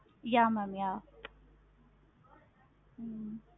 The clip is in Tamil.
yeah ma'am yeah hmm